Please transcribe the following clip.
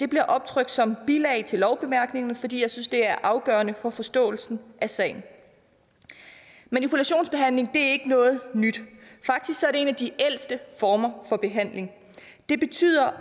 bliver optrykt som bilag til lovbemærkningerne fordi jeg synes det er afgørende for forståelsen af sagen manipulationsbehandling er ikke noget nyt faktisk er det en af de ældste former for behandling og det betyder